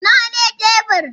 Nawa ne tebur?